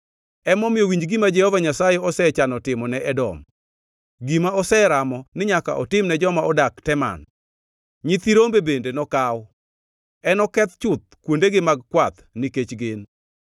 Emomiyo, winj gima Jehova Nyasaye osechano timo ne Edom, gima oseramo ni nyaka otimne joma odak Teman: Nyithi rombe bende nokaw; enoketh chuth kuondegi mag kwath nikech gin.